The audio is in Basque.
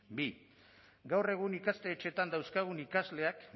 bi gaur egun ikastetxeetan dauzkagun ikasleak